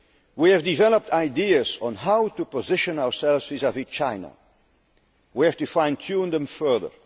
We have developed ideas on how to position ourselves vis vis China and where to fine tune them further.